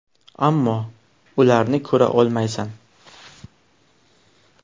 Ammo ularni ko‘ra olmaysan.